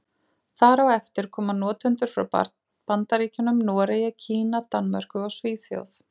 Þar á eftir koma notendur frá Bandaríkjunum, Noregi, Kína, Danmörku og Svíþjóð.